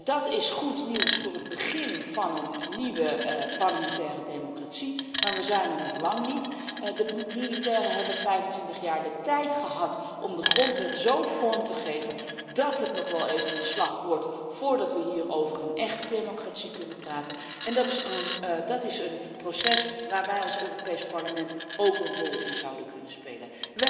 Dat is goed nieuws voor het begin van een nieuwe parlementaire democratie. Maar we zijn er nog lang niet. De militairen hebben 25 jaar de tijd gehad om de grondwet zo vorm te geven dat het nog wel even een slag wordt voordat we hier over een echte democratie kunnen praten en dat is een proces waarin wij als Europees Parlement ook een rol zouden kunnen spelen.